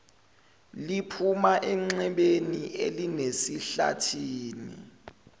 liphuma enxebeni elisesihlathini